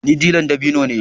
Ni dilla ɗin dabino ne